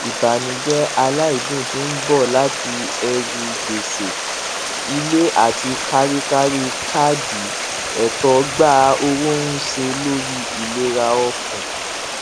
ìbànújẹ aláìdún tí ń bọ láti ẹrù gbèsè ilé àti káríkárí kaadi ẹtọ gba owó ń ṣe lórí ìlera ọkàn